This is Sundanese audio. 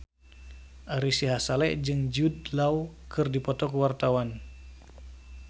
Ari Sihasale jeung Jude Law keur dipoto ku wartawan